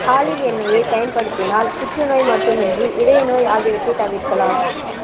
olive எண்ணெய் பயன்படுத்தினால் புற்றுநோய் மட்டுமின்றி இதய நோய் ஆகியவற்றை தவிர்க்கலாம்